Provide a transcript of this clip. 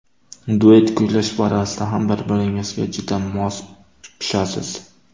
Duet kuylash borasida ham bir-biringizga juda mos tushasiz.